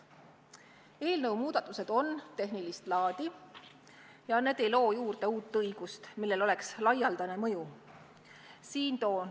Eelnõu muudatused on tehnilist laadi ega loo juurde uut õigust, millel oleks laialdane mõju.